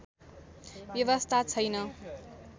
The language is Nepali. व्यवस्था छैन